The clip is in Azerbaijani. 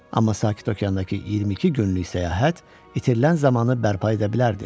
Amma Sakit Okeandakı 22 günlük səyahət itirilən zamanı bərpa edə bilərdi.